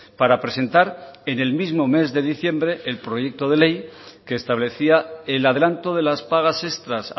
para presentar en el mismo mes de diciembre el proyecto de ley que establecía el adelanto de las pagas extras